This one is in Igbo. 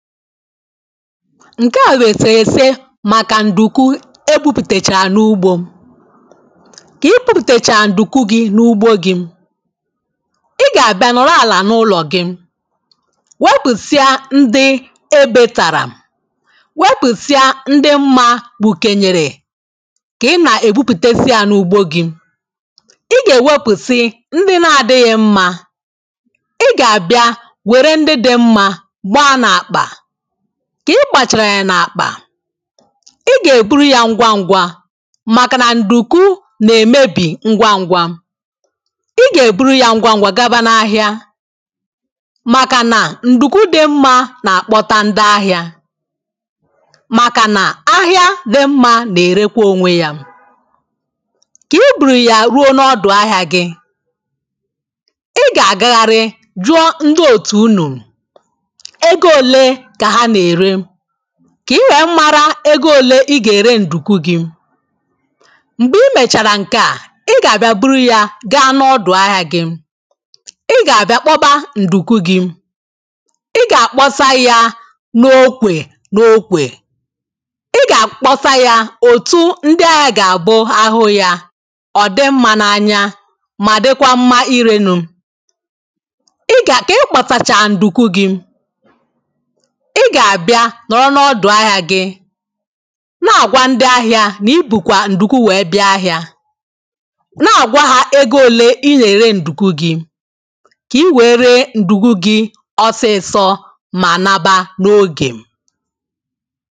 nke à wesìwesì maka ndùku ebupùtèchà n’ugbȯ ka i bùpùtèchàrà ndùku gị̇ n’ugbȯ gị̇ ị ga-abia nọrọ àlà n’ụlọ̀ gị wepùsịa ndị ebėtàrà wepùsịa ndị mmȧ gbùkenyèrè ka ị na-ègbupùtesià n’ugbȯ gị̇ ị ga-ewepùsị ndị na-adịghị̇ mmȧ ị ga-àbịa were ndị dị mmȧ gbaa n'akpa. ka ị gbachara ya n’akpà ị ga-eburu ya ngwa ngwa maka na nduku na-emebi ngwa ngwa ị ga-eburu ya ngwa ngwa gaba n’ahịa maka na nduku di mma na-akpọta ndị ahịa maka na ahịa di mma na-erekwa onwe ya ka i buru ya ruo n’ọdụ ahịa gị ị ga-agagharị jụọ ndị otu unuru kà i wee mmarà ẹgwẹ òlè ị gà-ẹrẹ ǹdùku gị̇ m̀gbè i mèchàrà ǹkẹ̀ a ị gà-àbịa buru yȧ gaa n’ọdụ̀ ahịa gị̇ ị gà-àbịa kpọbà ǹdùku gị̇ ị gà-àkpọsà yȧ n’okwè n’okwè ị gà-àkpọsà yȧ òtù ndị ahịȧ gà-àbụ ahụ yȧ ọ̀ dị mma n’anya mà dịkwa mma irenu̇ ị gà-àkị ịkpọtacha ǹdùku gị̇ ị gà-àbịa nọrọ n’ọdụ̀ ahịa gị na-àgwa ndị ahịa nà ibu̇kwa ǹdùku wee bịa ahịa na-àgwa ha ego òle i nyèrè ǹdùku gị kà i wee ree ǹdùku gị ọsịsọ mà naba n’oge